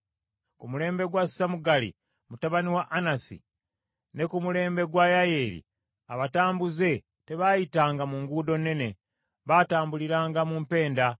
“Ku mulembe gwa Samugali, mutabani wa Anasi, ne ku mulembe gwa Yayeeri abatambuze tebaayitanga, mu nguudo nnene, baatambuliranga mu mpenda.